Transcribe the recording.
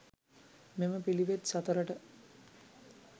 මෙම පිළිවෙත් සතරට